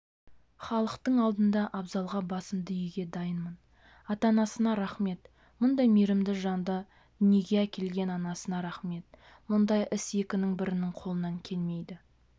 халықтың алдында абзалға басымды июге дайынмын ата-анасына рақмет мұндай мейірімді жанды дүниеге әкелген анасына рақмет мұндай іс екінің бірінің қолынан келмейді